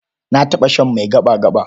Na taɓa shan mai gaɓa-gaɓa.